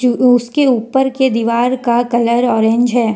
उसके ऊपर के दीवार का कलर ऑरेंज है।